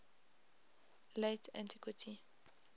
late antiquity